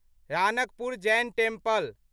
Ranakpur Jain temple